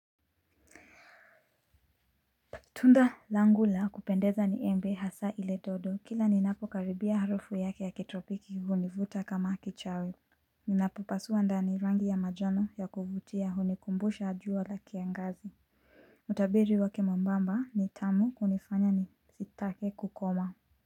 Tunda langu la kupendeza ni embe hasa ile dodo kila ninapokaribia harufu yake ya kitropiki hunivuta kama kichawi. Ninapopasua ndani rangi ya manjano ya kuvutia hunikumbusha jua la kiangazi. Mutabiri wake mwembamba ni tamu kunifanya nisitake kukoma.